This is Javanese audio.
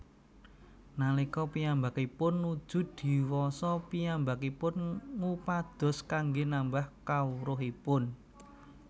Nalika piyambakipun nuju diwasa piyambakipun ngupados kanggé nambah kawruhipun